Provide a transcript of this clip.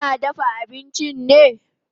Kina dafa abinchi ne?